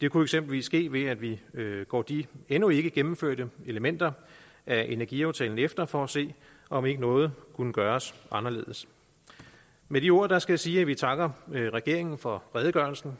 det kunne eksempelvis ske ved at vi går de endnu ikke gennemførte elementer af energiaftalen efter for at se om ikke noget kunne gøre anderledes med de ord skal jeg sige at vi takker regeringen for redegørelsen